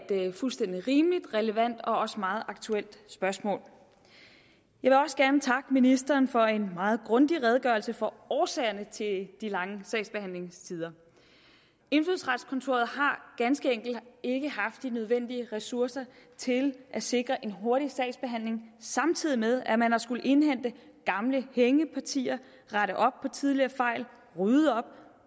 det er et fuldstændig rimeligt relevant og også meget aktuelt spørgsmål jeg vil også gerne takke ministeren for en meget grundig redegørelse for årsagerne til de lange sagsbehandlingstider indfødsretskontoret har ganske enkelt ikke haft de nødvendige ressourcer til at sikre en hurtig sagsbehandling samtidig med at man har skullet indhente gamle hængepartier rette op på tidligere fejl rydde op